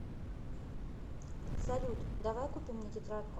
салют давай купим мне тетрадку